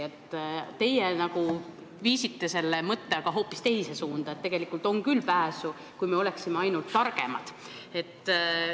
Teie viisite mõtte aga hoopis teise suunda, et on küll pääsu, kui me oleksime ainult targemad.